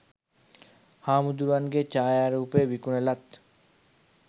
හාමුදුරුවන්ගේ ඡායාරූපය විකුණලත්